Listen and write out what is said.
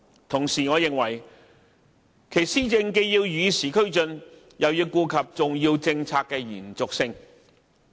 同時，我認為其施政既要與時俱進，又要顧及重要政策的延續性。